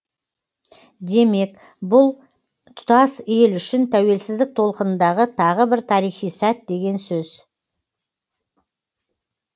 демек бұл тұтас ел үшін тәуелсіздік толқынындағы тағы бір тарихи сәт деген сөз